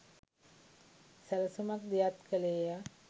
සැලසුමක් දියත් කළේය